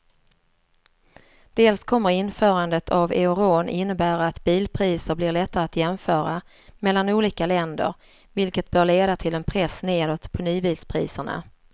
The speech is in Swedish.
Dels kommer införandet av euron innebära att bilpriser blir lättare att jämföra mellan olika länder vilket bör leda till en press nedåt på nybilspriserna.